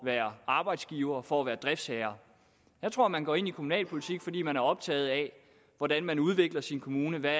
være arbejdsgiver for at være driftsherre jeg tror man går ind i kommunalpolitik fordi man er optaget af hvordan man udvikler sin kommune hvad